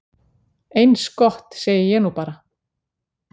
"""Eins gott, segi ég nú bara."""